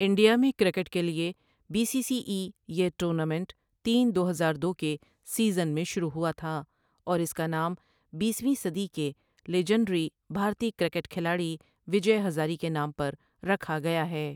India میں cricket کے لیے بی سی سی ای یہ ٹورنامنٹ تین دو ہزار دو کے سیزن میں شروع ہوا تھا اور اس کا نام بیسویں صدی کے لیجنڈری بھارتی کرکٹ کھلاڑی وجے ہزارے کے نام پر رکھا گیا ہے